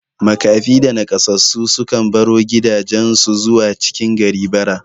Maƙafi da Naƙasassu sukan baro gidajan su zuwa cikin gari bara